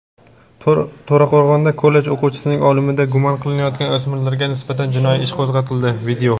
To‘raqo‘rg‘onda kollej o‘quvchisining o‘limida gumon qilinayotgan o‘smirlarga nisbatan jinoiy ish qo‘zg‘atildi.